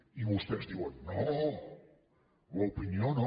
i vostès diuen no l’opinió no